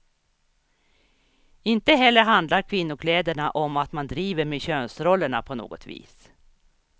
Inte heller handlar kvinnokläderna om att man driver med könsrollerna på något vis.